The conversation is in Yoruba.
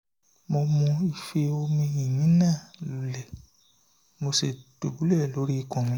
mo mu ife omi yìnyín náà lulẹ̀ mo sì dùbúlẹ̀ lórí ikùn mi